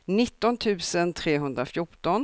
nitton tusen trehundrafjorton